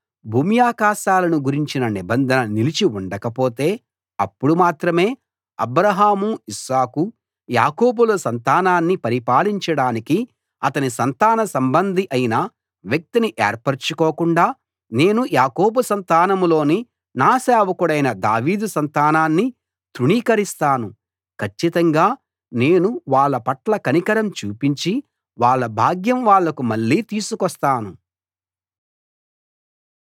భూమ్యాకాశాలను గురించిన నిబంధన నిలిచి ఉండకపోతే అప్పుడు మాత్రమే అబ్రాహాము ఇస్సాకు యాకోబుల సంతానాన్ని పరిపాలించడానికి అతని సంతాన సంబంధి అయిన వ్యక్తిని ఏర్పరచుకోకుండా నేను యాకోబు సంతానంలోని నా సేవకుడైన దావీదు సంతానాన్ని తృణీకరిస్తాను కచ్చితంగా నేను వాళ్ళ పట్ల కనికరం చూపించి వాళ్ళ భాగ్యం వాళ్లకు మళ్ళీ తీసుకొస్తాను